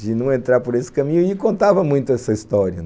de não entrar por esse caminho e contava muito essa história.